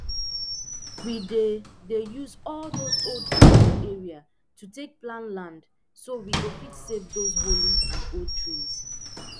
we dey dey use all dose old pipu for area to take plan land so we go fit save those holy and old trees